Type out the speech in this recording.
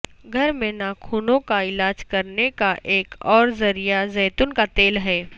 گھر میں ناخنوں کا علاج کرنے کا ایک اور ذریعہ زیتون کا تیل ہے